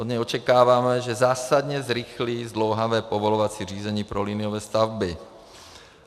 Od něj očekáváme, že zásadně zrychlí zdlouhavé povolovací řízení pro liniové stavby.